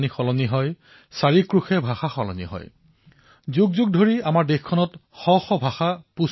অৱশ্যে কেতিয়াবা চিন্তাও হয় যে কিছুমান ভাষা বিলুপ্ত হৈ নাযায়তো কেইদিনমান আগেয়ে উত্তৰাখণ্ডৰ ধাৰচুলাৰ এক ঘটনা সন্দৰ্ভত অৱগত হলো